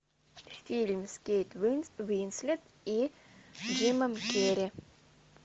фильм с кейт уинслет и джимом керри